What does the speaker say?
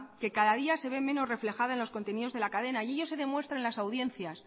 que cada día se ve menos reflejada en los contenidos de la cadena y ello se demuestra en las audiencias